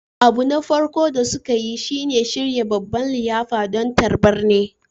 Abu na farko da suka yi shi ne shirya babban liyafa don tarbar ni